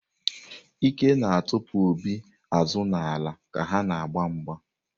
Ike na-atụpụ Obi azụ n’ala ka ha na-agba mgba.